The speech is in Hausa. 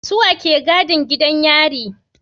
Suwa ke gadin gidan yari